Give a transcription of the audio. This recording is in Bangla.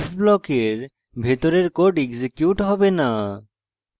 if ব্লকের ভিতরের code এক্সিকিউট হবে না